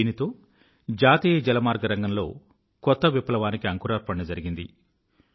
దీనితో జాతీయ జలమార్గ రంగంలో కొత్త విప్లవానికి అంకురార్పణ జరిగింది